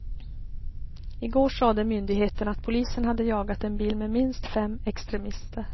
Igår sade myndigheterna att polisen hade jagat en bil med minst fem extremister.